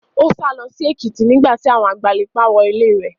Ó sálọ sí Èkìtì nígbà tí àwọn agbanipa wọ ilé rẹ̀.